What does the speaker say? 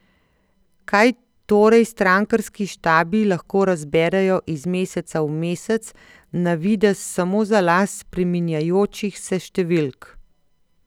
Kaj torej strankarski štabi lahko razberejo iz meseca v mesec na videz samo za las spreminjajočih se številk?